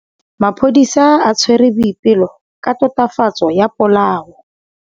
Maphodisa a tshwere Boipelo ka tatofatsô ya polaô.